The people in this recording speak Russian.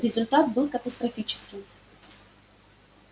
результат был катастрофическим